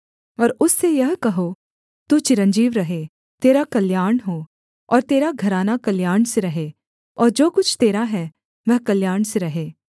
और उससे यह कहो तू चिरंजीव रहे तेरा कल्याण हो और तेरा घराना कल्याण से रहे और जो कुछ तेरा है वह कल्याण से रहे